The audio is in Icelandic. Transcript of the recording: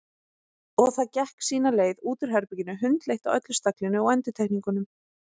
Og það gekk sína leið út úr herberginu, hundleitt á öllu staglinu og endurtekningunum.